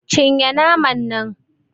Cin ye naman nan